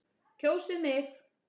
Kjósið mig.